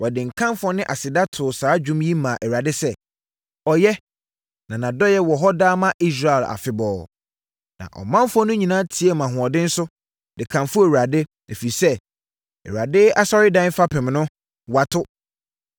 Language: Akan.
Wɔde nkamfoɔ ne aseda too saa dwom yi maa Awurade sɛ: “Ɔyɛ, Na nʼadɔeɛ wɔ hɔ daa ma Israel afebɔɔ!” Na ɔmanfoɔ no nyinaa teaam ahoɔden so, de kamfoo Awurade, ɛfiri sɛ, Awurade asɔredan fapem no, wɔato.